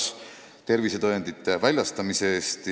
Seda tuleks maksta tervisetõendite väljastamise eest.